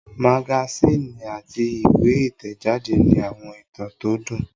Magasíìnì àti ìwé ìtẹ̀jáde ní àwọn ìtàn tó dùn